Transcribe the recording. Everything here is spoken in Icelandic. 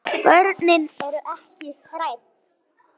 Börnin eru ekki hrædd.